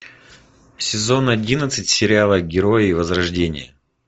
сезон одиннадцать сериала герои возрождения